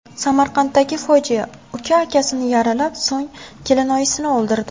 Samarqanddagi fojia: Uka akasini yaralab, so‘ng kelinoyisini o‘ldirdi.